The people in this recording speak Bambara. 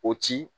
O ci